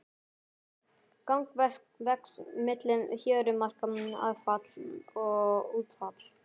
Þang vex milli fjörumarka aðfalls og útfalls.